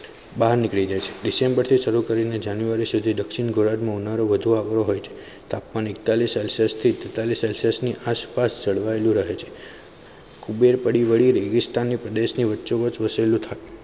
બાહર નીકળી જાય છે. december શરૂ કરીને january સુધી દક્ષિણ ગુજરાત માં ઉનાળો વધુ આવેલો હોય છે તાપમાન એકતાલીસ celsius થી તેતાલીસ celsius આસપાસ જળવાઈ લુ રહે છે કુબ્બેર પડી રેગીસ્તાન પ્રદેશ વચ્ચોવચ વસેલું.